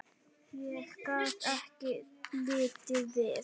Ég gat ekki litið við.